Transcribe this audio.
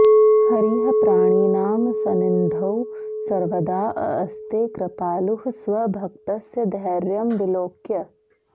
हरिः प्राणिनां संनिधौ सर्वदाऽऽस्ते कृपालुः स्वभक्तस्य धैर्यं विलोक्य